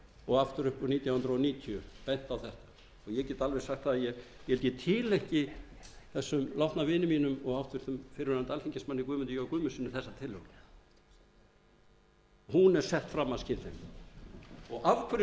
og aftur upp úr nítján hundruð níutíu benti á þetta ég get alveg sagt að ég held ég tileinki þessum látna vini mínum og háttvirtur fyrrverandi alþingismanni guðmundi j guðmundssyni þessa tillögu hún er sett fram af skynsemi og af